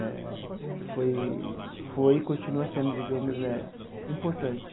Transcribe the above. eh foi foi e continua sendo, digamos, eh importante.